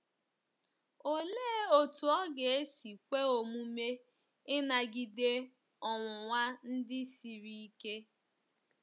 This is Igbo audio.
Olee otú ọ ga-esi kwe omume ịnagide ọnwụnwa ndị siri ike?